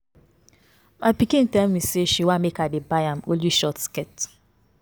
My pikin tell me say she wan make I dey buy am only short skirt